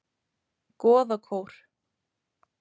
Goðakór